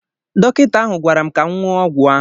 Dọkịta ahụ gwara m ka m ṅụọ ọgwụ ahụ.